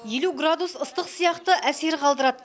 елу градус ыстық сияқты әсер қалдырады